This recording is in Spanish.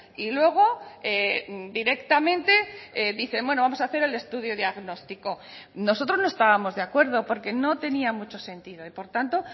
y luego directamente dicen bueno vamos a hacer el estudio diagnóstico nosotros no estábamos de acuerdo porque no tenía mucho sentido y por tanto